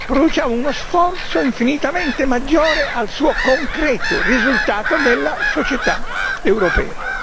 Noi produciamo uno sforzo infinitamente maggiore al suo concreto risultato nella società europea.